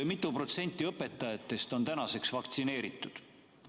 Mitu protsenti õpetajatest on vaktsineeritud?